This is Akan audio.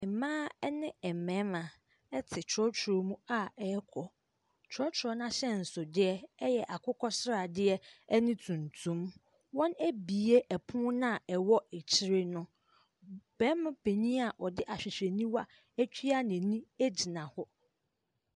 Mmaa ne mmarima te trɔtrɔ mu a ɛrekɔ. Trɔtrɔ no ahyɛnsodeɛ yɛ akokɔsradeɛ ne tuntum. Wɔabue pono no a ɛwɔ akyire no. Barima panin a ɔde ahwehwɛniwa atua n'ani gyina hɔ.